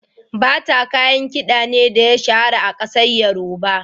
Bata kayan kiɗa ne da ya shahara a kasar yoruba.